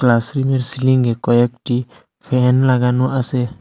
ক্লাসরুমের সিলিংয়ে কয়েকটি ফ্যান লাগানো আসে।